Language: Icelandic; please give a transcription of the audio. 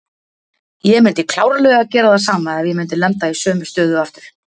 Ég myndi klárlega gera það sama ef ég myndi lenda í sömu stöðu aftur.